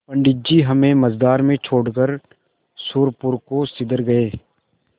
पंडित जी हमें मँझधार में छोड़कर सुरपुर को सिधर गये